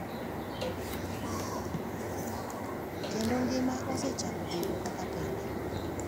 kendo ngima osechako bedo kaka pile.